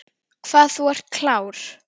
Hvað þú ert klár.